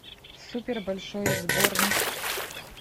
супер большой сборник